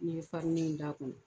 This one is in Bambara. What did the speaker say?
Ni ye farinni ye da kɔnɔ